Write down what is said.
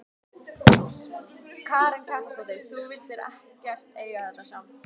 Karen Kjartansdóttir: Þú vildir ekkert eiga þetta sjálf?